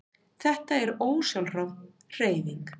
Þetta er ósjálfráð hreyfing.